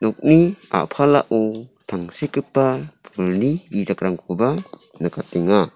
nokni a·palao tangsekgipa bijakrangkoba nikatenga.